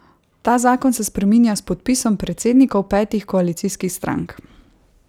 Ta zakon se spreminja s podpisom predsednikov petih koalicijskih strank.